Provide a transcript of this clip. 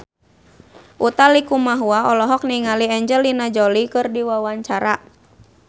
Utha Likumahua olohok ningali Angelina Jolie keur diwawancara